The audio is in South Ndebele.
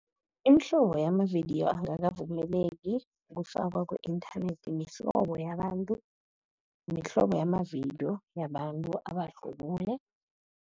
Imihlobo yamavidiyo angakavumeleki ukufakwa ku-inthanethi, mihlobo yabantu, mihlobo yamavidiyo yabantu abahlubule.